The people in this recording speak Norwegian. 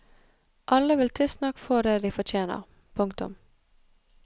Alle vil tidsnok få det de fortjener. punktum